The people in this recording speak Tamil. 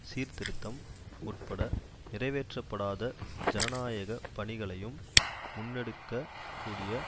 சீர்திருத்தம் உட்பட நிறைவேற்றப்படாத ஜனநாயக பணிகளையும் முன்னெடுக்கக் கூடிய